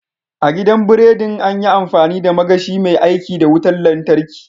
A gidan biridin, an yi amfani da magashi mai aiki da wutar lantarki.